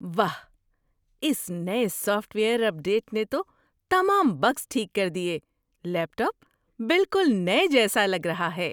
واہ، اس نئے سافٹ ویئر اپ ڈیٹ نے تو تمام بگز ٹھیک کر دیے۔ لیپ ٹاپ بالکل نئے جیسا لگ رہا ہے!